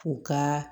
U ka